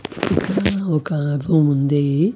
ఒకా ఒక గూమ్ ఉంది.